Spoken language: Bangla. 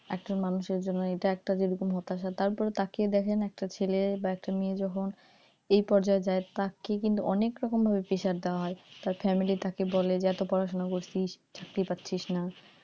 একজন মানুষের জন্য এটা একটা যেমন হতাশা তারপর তাকিয়ে দেখেন একটা ছেলে বা একটা মেয়ে যখন এই পর্যায় যায় তাকে কিন্তু অনেক রকম pressure দেওয়া হয় তার family তাকে বলে এত পড়াশুনা করছিস চাকরি পাচ্ছিস না,